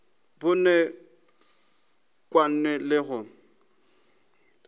bone bokaone e le go